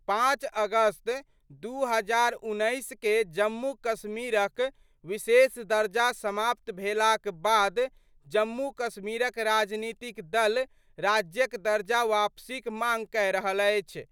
05 अगस्त 2019 के जम्मू कश्मीरक विशेष दर्जा समाप्त भेलाक बाद जम्मू कश्मीरक राजनीतिक दल राज्यक दर्जाक वापसीक मांग कए रहल अछि।